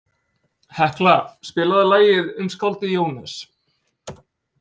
Hekla, spilaðu lagið „Um skáldið Jónas“.